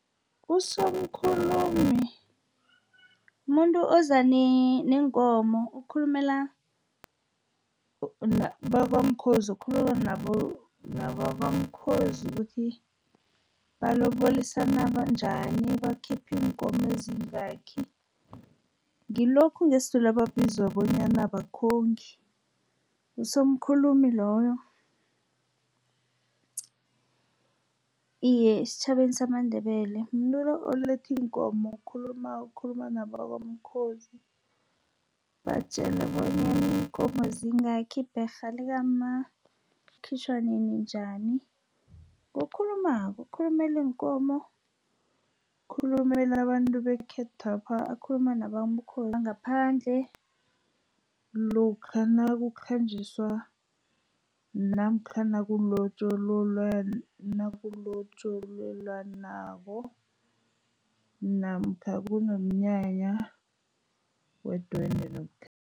Usomkhulumi mumuntu oza neenkomo, okhulumela bakwamkhozi, ukukhuluma nabakwamkhozi ukuthi balobolisana njani, bakhipha iinkomo ezingakhi. Ngilokhu ngesiZulu ebakubiza bonyana bakhongi. Usomkhulumi loyo, iye esitjhabeni samaNdebele mumuntu lo oletha iinkomo, okhulumako, okukhuluma nabakwamkhozi, batjelwe bonyana iinkomo zingakhi, ibherha likamma likhitjhwa nini, njani. Ngokhulumako okhulumela iinkomo, okhulumela abantu bekhethwapha, akhuluma ngaphandle lokha nakukhanjiswa namkha nakulotjolelwanako, namkha kunomnyanya wedwendwe